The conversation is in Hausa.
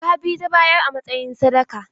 Jaka biyu ta bayar a matsayin sadaka.